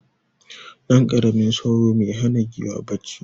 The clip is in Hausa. Ɗanƙaramin sauro me hana giwa bacci.